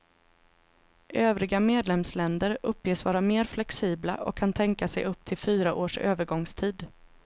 Övriga medlemsländer uppges vara mer flexibla och kan tänka sig upp till fyra års övergångstid.